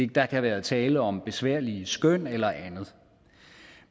der kan være tale om besværlige skøn eller andet